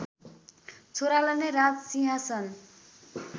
छोरालाई नै राजसिंहासन